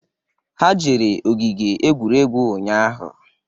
Ha jere ogige egwuregwu ụnyaahụ